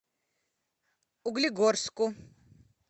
углегорску